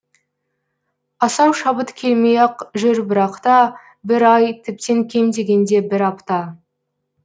асау шабыт келмей ақ жүр бірақта бір ай тіптен кем дегенде бір апта